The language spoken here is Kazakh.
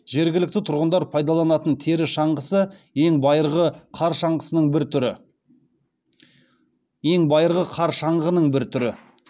жергілікті тұрғындар пайдаланатын тері шаңғысы ең байырғы қар шаңғының бір түрі